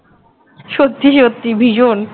সত্যি সত্যি ভীষণ